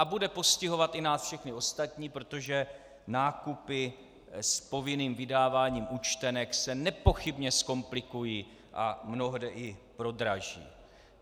A bude postihovat i nás všechny ostatní, protože nákupy s povinným vydáváním účtenek se nepochybně zkomplikují a mnohde i prodraží.